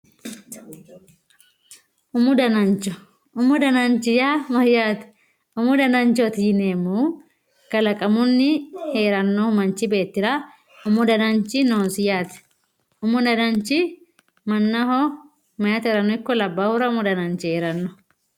Umu danancho, umu danancho yaa mayyaate? umu dananacho yineemmu kalaqamunni manchu beettira hee'rannoha umi dananchi noosi, umu dananchi manchoho meyaatera ikko labbahura umu dananchi hee'ranno.